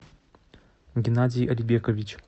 геннадий альбекович